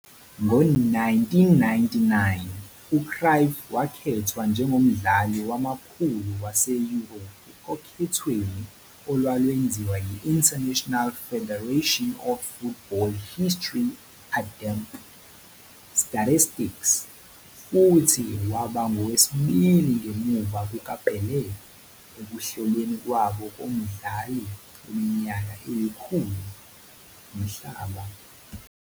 Ngo-1999, uCruyff wakhethwa njengoMdlali Wamakhulu WaseYurophu okhethweni olwalwenziwa yI-International Federation of Football History and Statistics, futhi waba ngowesibili ngemuva kukaPelé ekuhloleni kwabo Komdlali Weminyaka Eyikhulu Womhlaba.